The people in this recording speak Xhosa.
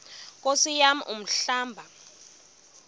nkosi yam umhlaba